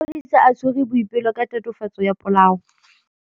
Maphodisa a tshwere Boipelo ka tatofatsô ya polaô.